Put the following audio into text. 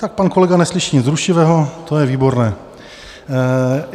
Tak pan kolega neslyší nic rušivého, to je výborné.